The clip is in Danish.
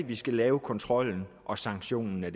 vi skal lave kontrollen og sanktionen i